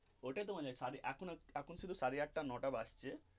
ওটাই তোমাদের এখনো এখন শুধু সাড়ে আটটা নটা বাজছে.